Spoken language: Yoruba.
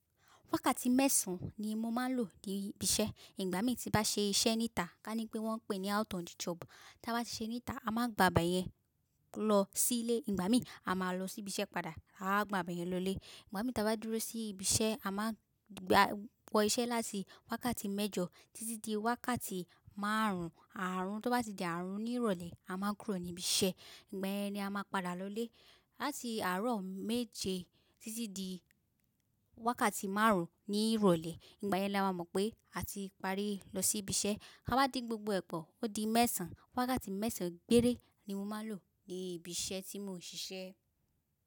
Wákàtí mẹ́sàn ni mo máa ń lò ní bi iṣẹ́. Ìgbà mí tí bá ṣe iṣẹ́ níta, ká ní pé wọ́n ń pè ní out on the job, tá bá ti ṣe níta, a máa ń gba beyẹ́n lọ sí ilé, ìgbà mí a máa lọ sí ibi iṣẹ́ padà, áa gba beyẹ́n lọlé. Ìgbà mí ta bá dúró sí ibi iṣẹ́, a máa ń gba wọ iṣẹ́ láti wákàtí mẹ́jọ títí di wákàtí márùn ún. Àárọ̀ tó bá ti di àárọ̀ ní ìrọ̀lẹ́, a máa kúrò ní ibi iṣẹ́, ìgbà yẹn ni a máa padà lọlé. Láti àárọ̀ méje títí di wákàtí márùn ún ní ìrọ̀lẹ́, ìgbà yẹn la máa mọ̀ pé a ti parí lọ sí ibi iṣẹ́. Ká bá di gbogbo ẹ̀pọ̀, ó di mẹ́sàn-án. Wákàtí mẹ́sàn-án gbére ni mo máa ń lò ní ibi iṣẹ́ tí mò ń ṣiṣẹ́.